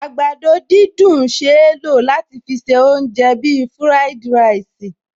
Àgbàdo dídùn ṣeé lò láti fi se oúnjẹ bíi fúráìdì ráìsì